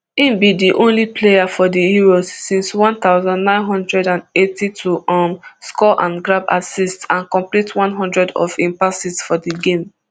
im be di only player for di euros since one thousand, nine hundred and eighty to um score and grab assist and complete one hundred of im passes for di game